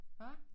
Hvad